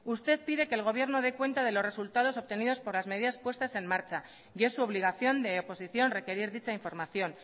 usted pide que el gobierno dé cuenta de los resultados obtenidos por las medidas puestas en marcha y es su obligación de oposición requerir dicha información